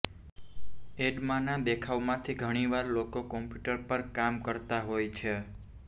એડમાના દેખાવમાંથી ઘણી વાર લોકો કમ્પ્યુટર પર કામ કરતા હોય છે